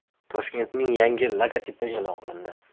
Toshkentning yangi logotipi e’lon qilindi.